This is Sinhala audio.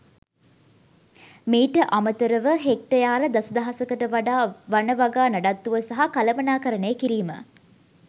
මීට අමතර ව හෙක්ටයාර දස දහසකට වඩා වන වගා නඩත්තුව සහ කළමනාකරණය කිරීම